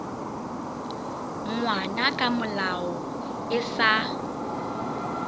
ngwana ka molao e sa